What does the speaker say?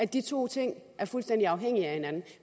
de to ting er fuldstændig afhængige af hinanden